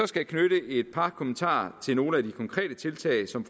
skal knytte et par kommentarer til nogle af de konkrete tiltag som